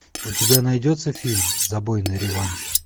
у тебя найдется фильм забойный реванш